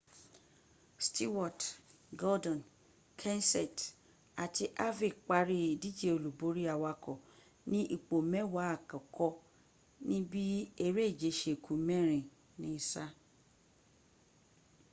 stewart gordon kenseth àti harvick parí ìdíje olúborí awakọ ní ipò mẹ́wàá àkọ́kọ́̀ níbi eréje se ku mẹ́rin ní sáà